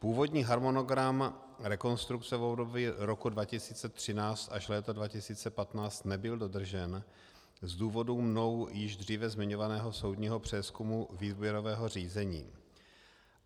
Původní harmonogram rekonstrukce v období roku 2013 až léta 2015 nebyl dodržen z důvodu mnou již dříve zmiňovaného soudního přezkumu výběrového řízení.